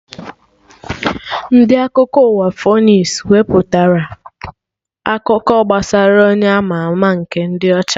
Ndị Akụkọ ụwa Fonis wepụtara akụkọ gbasara Onye ama ama nke dị ọcha